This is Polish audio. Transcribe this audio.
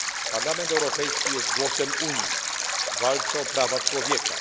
Parlament Europejski jest głosem Unii w walce o prawa człowieka.